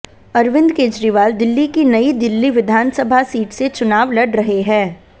अरविंद केजरीवाल दिल्ली की नई दिल्ली विधानसभा सीट से चुनाव लड़ रहे हैं